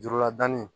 Jurula danni